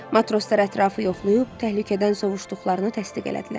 Matroslar ətrafı yoxlayıb, təhlükədən sovuşduqlarını təsdiq elədilər.